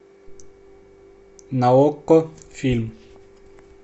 на окко фильм